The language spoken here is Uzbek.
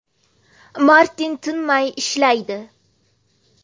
Martin tinmay ishlaydi.